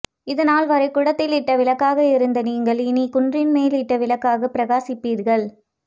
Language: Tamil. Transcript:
இதுநாள் வரை குடத்தில் இட்ட விளக்காக இருந்த நீங்கள் இனி குன்றின் மேலிட்ட விளக்காக பிரகாசிப்பீர்கள்